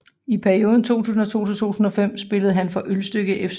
I perioden 2002 til 2005 spillede han for Ølstykke FC